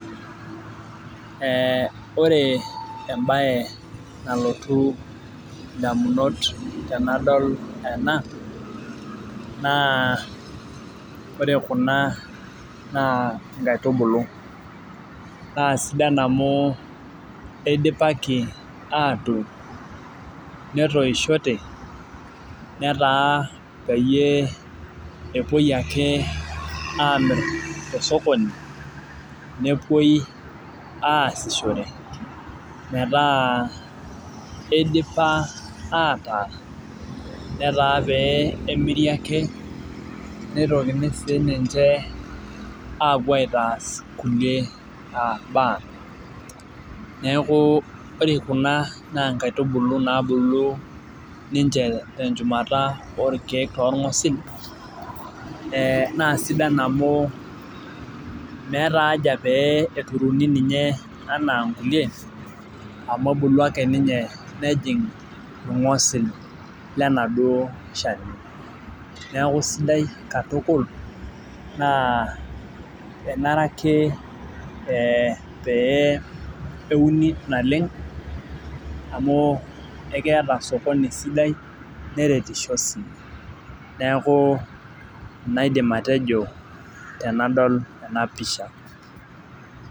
Ee ore embae nalotu ndamunot tanadol ena na ore kuna na nkaitubulu na sidan amu idipaki atuun netoshote netaa peyie epuoi ake amir tosokoni nepuoi asishore metaa idipa ataa netaa pemiri ake peitokini sininye apuo aitaas mbaa neakubore kuna na nkaitubulu nabulu ninche tenchumata orkiek tongwesi na sidan amu meta aja peturuni ninche ana nkulie amu ebuku ake nejing irngosil lenaduo shani neaku sidai katukul na enare ake peuni naleng amu keeta osokoni sidai neretisho oleng naidim atejo tanadol enapisha.